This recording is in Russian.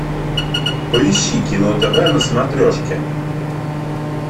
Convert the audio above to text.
поищи кино тв на смотрешке